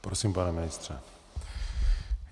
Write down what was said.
Prosím, pane ministře.